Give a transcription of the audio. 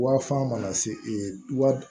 Wa fan mana se e wa